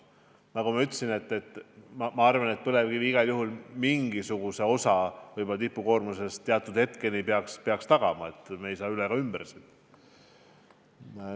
Nagu ma ütlesin, minu arvates põlevkivi igal juhul mingisuguse osa tipukoormuse tarbimisest teatud hetkeni peaks tagama – me ei saa sellest üle ega ümber.